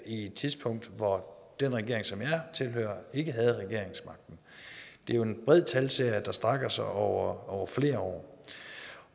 i et tidspunkt hvor den regering som jeg tilhører ikke havde regeringsmagten det er jo en bred talserie der strækker sig over over flere år